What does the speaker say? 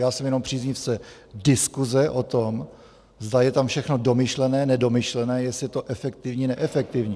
Já jsem jenom příznivcem diskuse o tom, zda je tam všechno domyšlené, nedomyšlené, jestli je to efektivní, neefektivní.